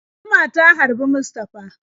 Zuma ta harbi Mustafa.